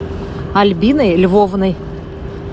альбиной львовной